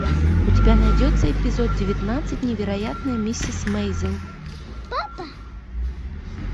у тебя найдется эпизод девятнадцать невероятная миссис мейзел